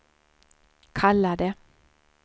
kallade